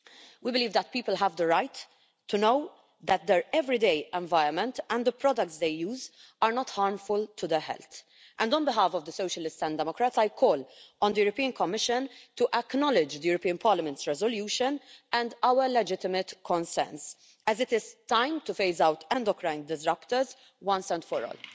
We believe that people have the right to know that their everyday environment and the products they use are not harmful to their health, and on behalf of the Socialists and Democrats I call on the European Commission to acknowledge the European Parliament's resolution and our legitimate concerns, as it is time to phase out endocrine disruptors once and for all.